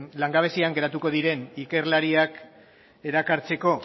langabezian geratuko diren ikerlariak erakartzeko